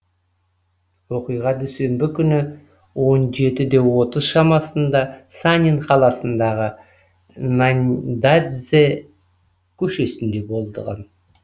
оқиға дүйсенбі күні он жетіде отыз шамасында санин қаласындағы наньдацзе көшесінде болған